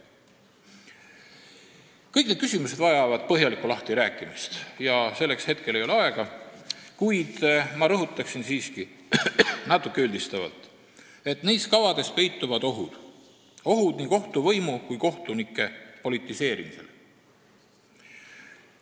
Kõik need küsimused vajavad põhjalikku lahtirääkimist ja hetkel ei ole selleks aega, kuid ma rõhutaksin siiski üldistavalt, et nendes kavades peituvad ohud nii kohtuvõimu kui ka kohtunike politiseerimisele.